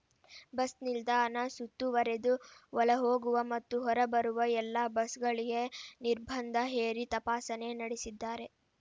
bus ನಿಲ್ದಾಣ ಸುತ್ತುವರೆದು ಒಳಹೋಗುವ ಮತ್ತು ಹೊರಬರುವ ಎಲ್ಲಾ ಬಸ್‌ಗಳಿಗೆ ನಿರ್ಬಂಧ ಹೇರಿ ತಪಾಸಣೆ ನಡೆಸಿದ್ದಾರೆ